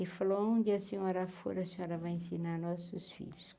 E falou aonde a senhora for, a senhora vai ensinar nossos filhos.